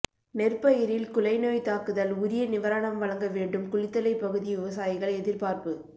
நெற்பயிரில் குலை நோய் தாக்குதல் உரிய நிவாரணம் வழங்க வேண்டும் குளித்தலை பகுதி விவசாயிகள் எதிர்பார்ப்பு